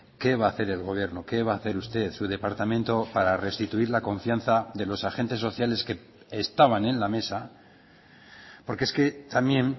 qué va a hacer el gobierno qué va a hacer usted su departamento para restituir la confianza de los agentes sociales que estaban en la mesa porque es que también